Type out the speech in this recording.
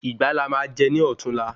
Ìgbá la má jè ní ọ̀túnla